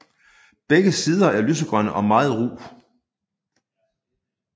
Begge sider er lysegrønne og meget ru